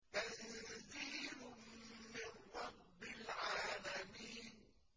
تَنزِيلٌ مِّن رَّبِّ الْعَالَمِينَ